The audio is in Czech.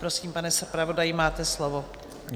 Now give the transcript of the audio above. Prosím, pane zpravodaji, máte slovo.